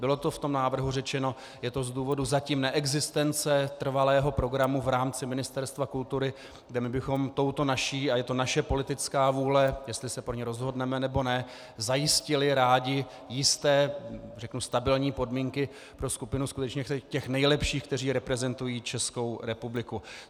Bylo to v tom návrhu řečeno, je to z důvodu zatím neexistence trvalého programu v rámci Ministerstva kultury, kde my bychom touto naší, a je to naše politická vůle, jestli je pro ni rozhodneme, nebo ne, zajistili rádi jisté, řeknu, stabilní podmínky pro skupinu skutečně těch nejlepších, které reprezentují Českou republiku.